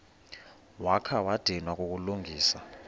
wakha wadinwa kukulungisa